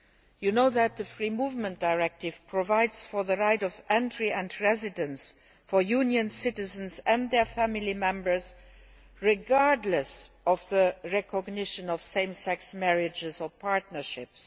You know that the Free Movement Directive provides for the right of entry and residence for Union citizens and their family members, regardless of the recognition of same sex marriages or partnerships.